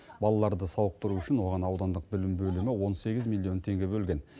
балаларды сауықтыру үшін оған аудандық білім бөлімі он сегіз миллион теңге бөлген